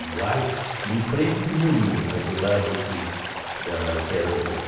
iguais, em frente de Moliro, mas do lado que da que era da.